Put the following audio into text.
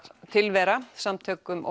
tilvera samtök um